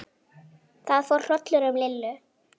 Það fór hrollur um Lillu.